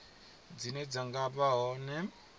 dzine dza nga vha hone